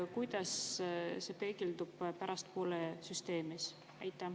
Kuidas see peegeldub pärastpoole süsteemis?